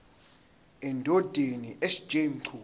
endodeni sj mchunu